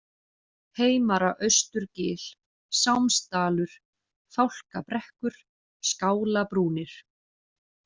Heimara-Austurgil, Sámsdalur, Fálkabrekkur, Skálabrúnir